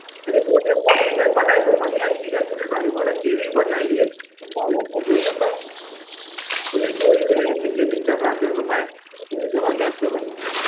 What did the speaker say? ચેવી ચોરી કરે KGF picture ના અંદર તો ભાઈ જબરજસ્ત છે ભાઈ એ પોતે પહોંચી જાય